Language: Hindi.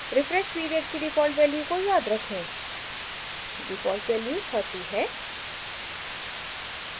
refresh period की डिफ़ॉल्ट वैल्यू को याद रखें डिफ़ॉल्ट वैल्यू 30 है